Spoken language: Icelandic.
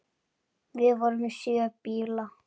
Við erum með sjö bíla.